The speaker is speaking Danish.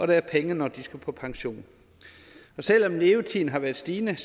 der er penge når de skal på pension og selv om levetiden har været stigende